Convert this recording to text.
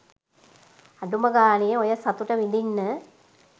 අඩුම ගානේ ඔය සතුට විදින්න.